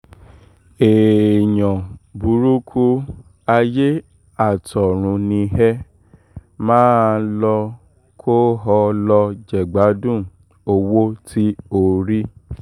èèyàn burúkú ayé àtọ̀run ni ẹ má a lò kó o lọ jẹ̀gbádùn owó tí o rí